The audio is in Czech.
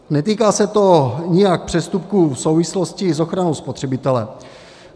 Netýká se to nijak přestupků v souvislosti s ochranou spotřebitele.